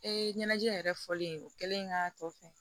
ɲɛnajɛ yɛrɛ fɔlen o kɛlen k'a tɔ fɛ